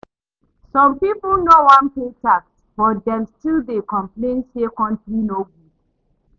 Some people no wan pay tax, but dem still dey complain say country no good.